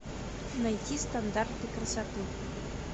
найти стандарты красоты